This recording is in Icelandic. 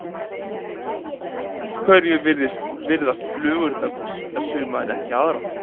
Af hverju virðast flugurnar bíta suma en ekki aðra?